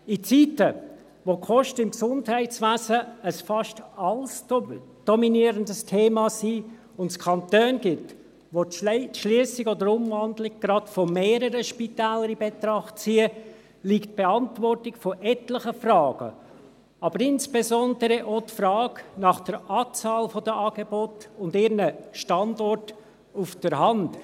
In Zeiten, in denen die Kosten im Gesundheitswesen ein fast alles dominierendes Thema sind und es Kantone gibt, welche die Schliessung oder Umwandlung gleich von mehreren Spitälern in Betracht ziehen, liegt die Beantwortung von etlichen Fragen, aber insbesondere auch die Frage nach der Anzahl der Angebote und ihren Standorten auf der Hand.